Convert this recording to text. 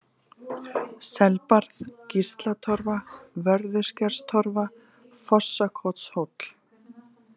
Selbarð, Gíslatorfa, Vörðuskerstorfa, Fossakotshóll